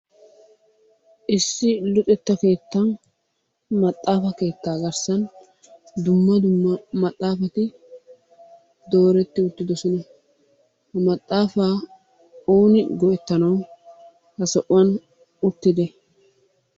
Issi luxetta keettan maaxafa keetta garssan dumma dumma maaxafatti dooretti uttidossona, he maaxafa ooni go'ettanawu ha sohuwaani uttidee?